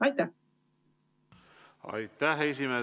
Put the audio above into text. Aitäh!